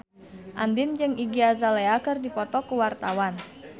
Andien jeung Iggy Azalea keur dipoto ku wartawan